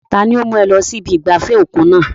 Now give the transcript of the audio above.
Tani ó mú ọ wọ ibi ìgbafẹ́ òkun náà?